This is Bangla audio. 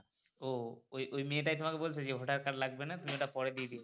ও ওই মেয়ে টাই তোমাকে বলছে যে voter card লাগবে না তুমি ওটা পরে দিয়ে দিও।